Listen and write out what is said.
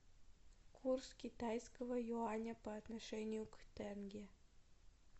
курс китайского юаня по отношению к тенге